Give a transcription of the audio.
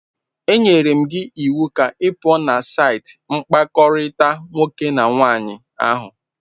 Enyere m gị iwu ka ị pụọ na saịtị mkpakọrịta nwoke na nwaanyị ahụ.